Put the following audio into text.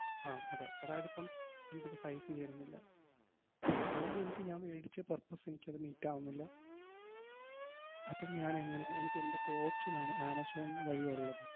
ആഹ് അതെ. അതായതിപ്പം എനിക്കിപ്പം size ചേരുന്നില്ല അല്ലെങ്കി എനിക്ക് ഞാൻ വേടിച്ച purpose എനിക്കത് meet ആവുന്നില്ല. അപ്പം ഞാനെങ്ങനെ എനിക്കെന്തൊക്കെ option ആണ് ആമസോൺ വഴി ഒള്ളത്?